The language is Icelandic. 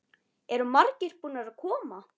Eru margir búnir að koma?